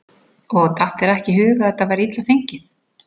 Og datt þér ekki í hug að það væri illa fengið?